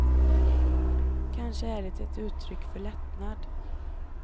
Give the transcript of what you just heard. Kanske är det ett uttryck för lättnad.